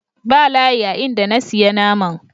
Ba layi a in da na siya naman.